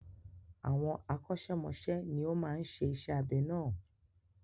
Àwọn akọ́ṣẹ́mọsẹ́ ni ó máa ń ṣe iṣẹ́ abẹ náà.